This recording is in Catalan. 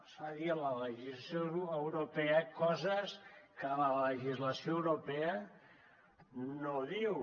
es fa dir a la legislació europea coses que la legislació europea no diu